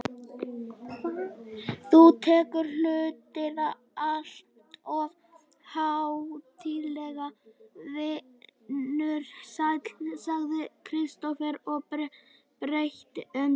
Þú tekur hlutina alltof hátíðlega, vinur sæll, sagði Kristófer og breytti um tón.